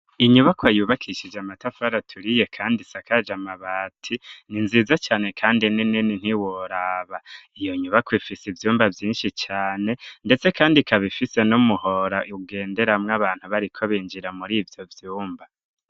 Inyubako yubakishije amatafu araturiye, kandi sakaje amabati ni nziza cane, kandi nenene ntiworaba iyo nyubako ifise ivyumba vyinshi cane, ndetse, kandi kaba ifise no muhora ugenderamwo abantu bariko binjira muri ivyo vyumba.